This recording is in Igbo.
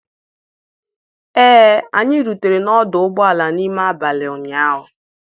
Ee, anyị rutere n'ọdụ ụgbọala n'ime abalị ụnyaahụ.